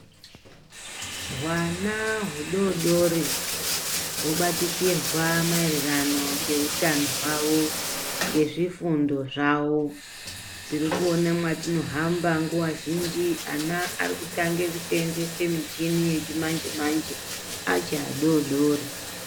Hwana hudodori wobatikirwa maererano nehutano hwawo ngezvifundo zvawo tiri kuona mwatinohamba nguwa zhinji vana Varikutanga kusenzesa michini yechimanje manje achiri adodori.